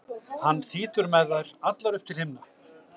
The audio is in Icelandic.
hann þýtur með þær allar upp til himna.